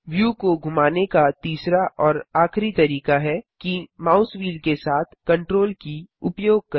view को घुमाने का तीसरा और आखिरी तरीका है कि माउस व्हील के साथ CTRL की उपयोग करें